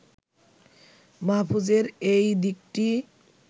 মাহফুজের এই দিকটি